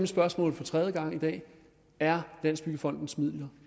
spørgsmål for tredje gang i dag er landsbyggefondens midler